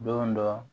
Don dɔ